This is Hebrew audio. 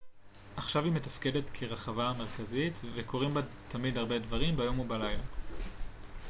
עכשיו היא מתפקדת כרחבה המרכזית וקורים בה תמיד הרבה דברים ביום ובלילה